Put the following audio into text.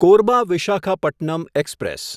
Korba Visakhapatnam express